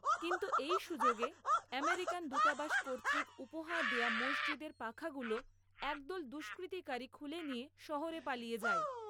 কিন্তু এই সুযোগে আমেরিকান দূতাবাস কর্তৃক উপহার দেয়া মসজিদের পাখাগুলো একদল দুস্কৃতিকারী খুলে নিয়ে শহরে পালিয়ে যায়।